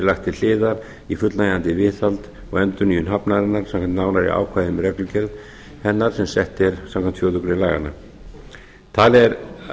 lagt til hliðar í fullnægjandi viðhald og endurnýjun hafnarinnar samkvæmt nánari ákvæðum um reglugerð hennar sem sett er samkvæmt fjórðu grein laganna talið er